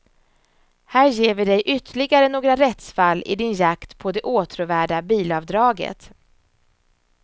Här ger vi dig ytterligare några rättsfall i din jakt på det åtråvärda bilavdraget.